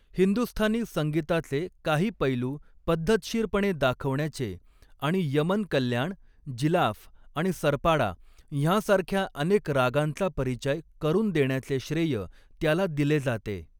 हिंदुस्थानी संगीताचे काही पैलू पद्धतशीरपणे दाखवण्याचे आणि यमन कल्याण, जिलाफ आणि सरपाडा ह्यांसारख्या अनेक रागांचा परिचय करून देण्याचे श्रेय त्याला दिले जाते.